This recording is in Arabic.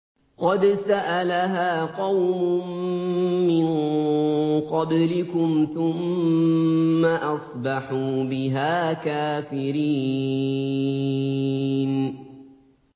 قَدْ سَأَلَهَا قَوْمٌ مِّن قَبْلِكُمْ ثُمَّ أَصْبَحُوا بِهَا كَافِرِينَ